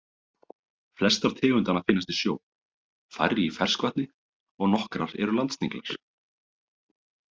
Flestar tegundanna finnast í sjó, færri í ferskvatni og nokkrar eru landsniglar.